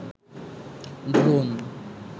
drone